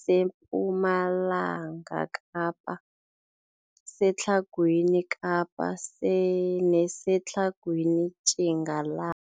sePumalanga Kapa, seTlhagwini Kapa neseTlhagwini Tjingala